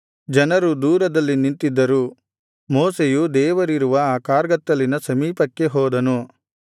ಜನರು ದೂರದಲ್ಲಿ ನಿಂತಿದ್ದರು ಮೋಶೆಯು ದೇವರಿರುವ ಆ ಕಾರ್ಗತ್ತಲಿನ ಸಮೀಪಕ್ಕೆ ಹೋದನು